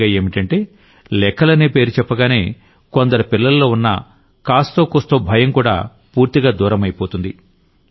పైగా ఏంటంటే లెక్కలనే పేరు చెప్పగానే కొందరు పిల్లల్లో ఉన్న కాస్తో కూస్తో భయం కూడా పూర్తిగా దూరమైపోతుంది